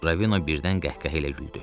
Ravino birdən qəhqəhə ilə güldü.